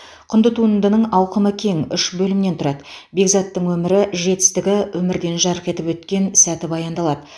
құнды туындының ауқымы кең үш бөлімнен тұрады бекзаттың өмірі жетістігі өмірден жарқ етіп өткен сәті баяндалады